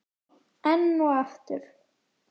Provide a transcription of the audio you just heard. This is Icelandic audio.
Enn og aftur?